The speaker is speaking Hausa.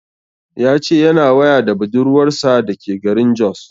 Ya ce yana waya da budurwar sa da ke garin Jos